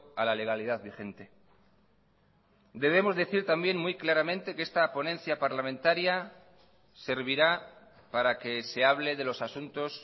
a la legalidad vigente debemos decir también muy claramente que esta ponencia parlamentaria servirá para que se hable de los asuntos